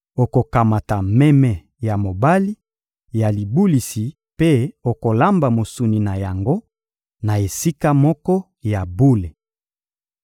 Okokamata meme ya mobali ya libulisi mpe okolamba mosuni na yango na esika moko ya bule.